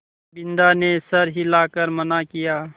बिन्दा ने सर हिला कर मना किया